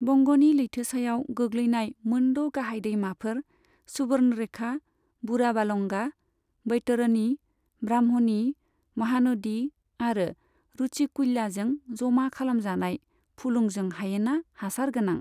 बंग'नि लैथोसायाव गोग्लैनाय मोनद' गाहाय दैमाफोर, सुबर्णरेखा, बुढाबालंगा, बैतरणी, ब्राह्मणी, महानदी आरो रुशिकुल्याजों जमा खालामजानाय फुलुंजों हायेना हासारगोनां।